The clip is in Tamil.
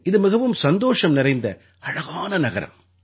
இது மிகவும் சந்தோஷம் நிறைந்த அழகான நகரம்